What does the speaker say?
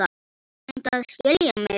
Reyndu að skilja mig.